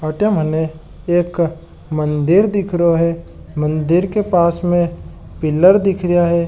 अठे मने एक मंदिर दिखरो है मंदिर के पास में पिलर दिख रिया है।